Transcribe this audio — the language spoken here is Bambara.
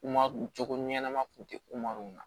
Kuma cogo ɲɛnama tun tɛ ku na